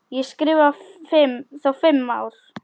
Ég skrifa þá fimm ár.